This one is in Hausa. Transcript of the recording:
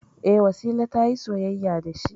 E, Wasila ta yi soyayya da shi.